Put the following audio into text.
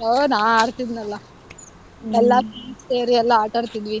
ಹ್ಮ್ ನಾನ್ ಆಡ್ತಿದ್ನಲ್ಲಾ. ಎಲ್ಲಾರು ಸೇರಿ ಎಲ್ಲಾ ಆಟಾಡ್ತಿದ್ವಿ,